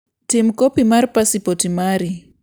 Tim kopi mar pasipoti mari.